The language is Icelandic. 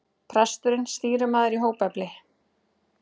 Presturinn stýrimaður í hópefli.